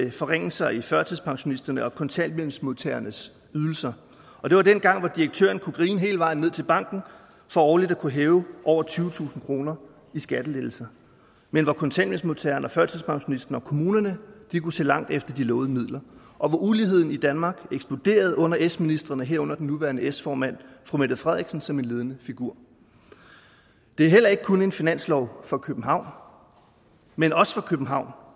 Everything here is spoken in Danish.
af forringelser i førtidspensionisternes og kontanthjælpsmodtagernes ydelser og det var dengang hvor direktøren kunne grine hele vejen ned til banken for årligt at kunne hæve over tyvetusind kroner i skattelettelse men hvor kontanthjælpsmodtageren og førtidspensionisten og kommunerne kunne se langt efter de lovede midler og hvor uligheden i danmark eksploderede under s ministrene herunder den nuværende s formand fru mette frederiksen som en ledende figur det er heller ikke kun en finanslov for københavn men også for københavn og